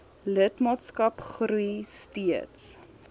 lidmaatskap groei steeds